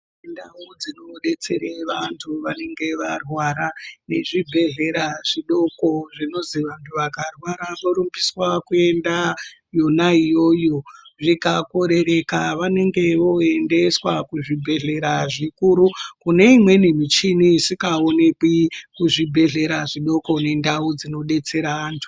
Ndau dzinodetsere vantu vanenge varwara nezvibhehhlera zvodoko zvinozi vantu vakarwara vorumbiswa kuenda yona iyoyo. Zvikakorereka vanenge vooendeswa kuzvibhehlera zvikuru kune imweni michini isikaoneki kuzvibhehlera zvidoko nendau dzinodetsera antu.